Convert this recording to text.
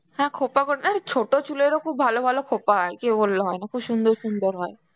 হ্যাঁ খোঁপা করে ছোট চুলেরও খুব ভালো ভালো খোঁপা হয়, কে বলল হয় না খুব সুন্দর সুন্দর হয়.